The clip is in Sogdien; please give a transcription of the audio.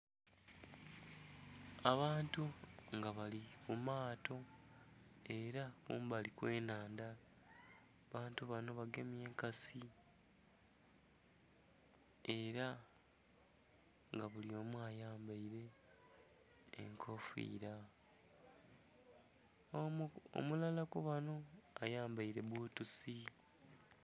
Abantu nga bali ku maato ela kumbali kw'ennhandha. Abantu bano bagemye enkasi ela nga buli omu ayambaile enkofiila. Omulala ku bano ayambaile bbutusi.